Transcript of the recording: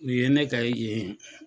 U ye ne kɛ yen